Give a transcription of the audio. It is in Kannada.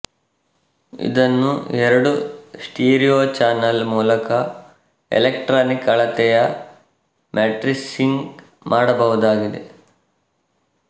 ಇದನ್ನು ಎರಡು ಸ್ಟಿರಿಯೊ ಚಾನಲ್ ಮೂಲಕ ಎಲೆಕ್ಟ್ರಾನಿಕ್ ಅಳತೆಯ ಮ್ಯಾಟ್ರಿಸ್ಕಿಂಗ್ ಮಾಡಬಹುದಾಗಿದೆ